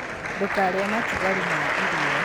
Ndūkarīe matigari ma irio.